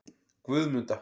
Guðmunda